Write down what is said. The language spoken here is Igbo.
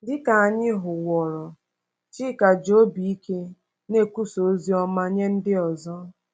Dị ka anyị hụworo, Chika ji obi ike na-ekwusa ozi ọma nye ndị ọzọ.